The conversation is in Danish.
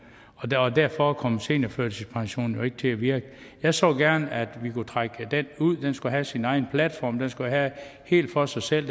og derfor kom seniorførtidspensionen jo ikke til at virke jeg så gerne at vi kunne trække den ud den skulle have sin egen platform den skulle være helt for sig selv